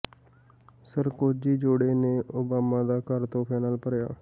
Sarkozy ਜੋੜੇ ਨੇ Obama ਦਾ ਘਰ ਤੋਹਫ਼ਿਆਂ ਨਾਲ ਭਰਿਆ